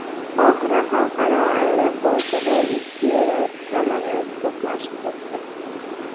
Qohira xalqaro aeroportida ikki yo‘lovchi samolyoti to‘qnashib ketdi.